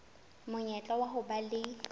monyetla wa ho ba le